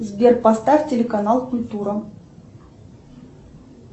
сбер поставь телеканал культура